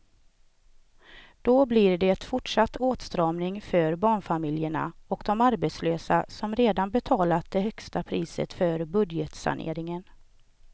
Då blir det fortsatt åtstramning för barnfamiljerna och de arbetslösa som redan betalat det högsta priset för budgetsaneringen.